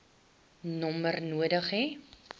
nommer nodig hê